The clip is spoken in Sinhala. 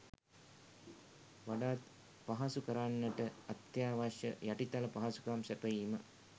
වඩාත් පහසු කරන්නට අත්‍යවශ්‍ය යටිතල පහසුකම් සැපයීම